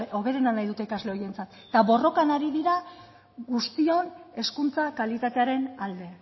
hoberena nahi dute ikasle horientzat eta borrokan ari dira guztion hezkuntza kalitatearen alde